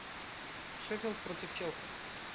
шеффилд против челси